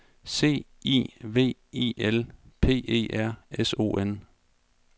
C I V I L P E R S O N